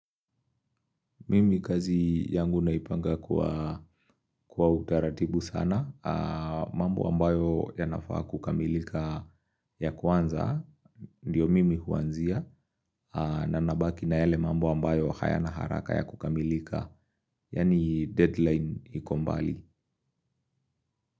Mimi kazi yangu naipanga kwa utaratibu sana. Mambo ambayo yanafaa kukamilika ya kwanza, ndiyo mimi huanzia. Na nabaki na yale mambo ambayo hayana haraka ya kukamilika. Yani deadline iko mbali.